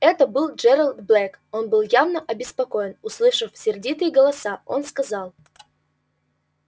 это был джералд блэк он был явно обеспокоен услышав сердитые голоса он сказал